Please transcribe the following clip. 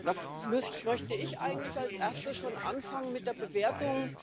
Da möchte ich eigentlich als Erstes schon anfangen mit der Bewertung.